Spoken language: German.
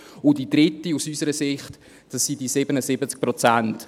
Und die dritte Stossrichtung – aus unserer Sicht – sind diese 77 Prozent.